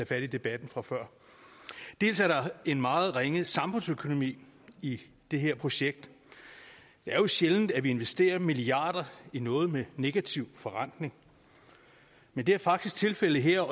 fat i debatten fra før dels er der en meget ringe samfundsøkonomi i det her projekt det er jo sjældent at vi investerer milliarder i noget med negativ forrentning men det er faktisk tilfældet her